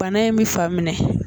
Bana in bɛ fa minɛ